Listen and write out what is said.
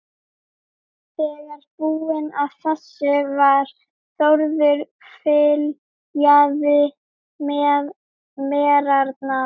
Þegar búinn að þessu var, Þórður fyljaði merarnar.